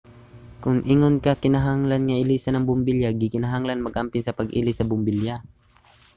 kon ingon ana kinahanglan nga ilisan ang bombilya. gikinahanglang mag-amping sa pag-ilis sa bombilya